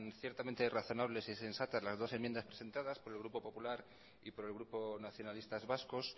ciertamente razonables y sensatas las dos enmiendas presentadas por el grupo popular y por el grupo nacionalistas vascos